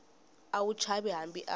a wu chavi hambi a